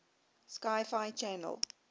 sci fi channel